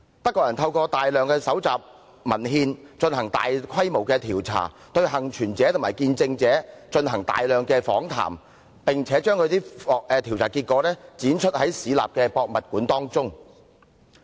德國人透過大量蒐集文獻，進行大規模調查，對幸存者和見證者進行大量訪談，並且把調查結果於市立博物館展出。